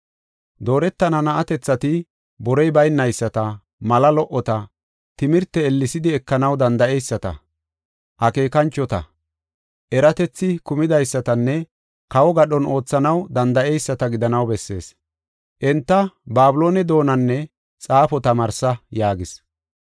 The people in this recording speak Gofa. Dooretana na7atethati, borey baynayisata, mala lo77ota, timirte ellesidi ekanaw danda7eyisata, akeekanchota, eratethi kumidaysatanne kawo gadhon oothanaw danda7eyisata gidanaw bessees. Enta Babiloone doonanne xaafo tamaarsa” yaagis.